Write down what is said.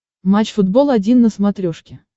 матч футбол один на смотрешке